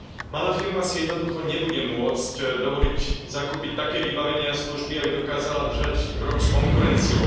Malá firma si jednoducho nebude môcť dovoliť zakúpiť také vybavenie a služby, aby dokázala držať krok s konkurenciou.